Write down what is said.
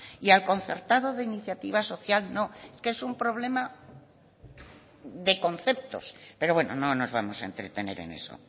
y al concertado de iniciativa social no es que es un problema de conceptos pero bueno no nos vamos a entretener en eso